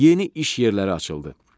Yeni iş yerləri açıldı.